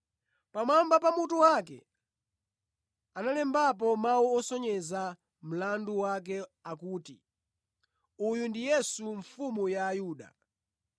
Pamwamba pa mutu wake analembapo mawu osonyeza mlandu wake akuti, “ uyu ndi yesu, mfumu ya ayuda .”